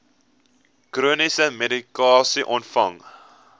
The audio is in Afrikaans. chroniese medikasie ontvang